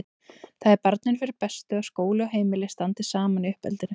Það er barninu fyrir bestu að skóli og heimili standi saman í uppeldinu.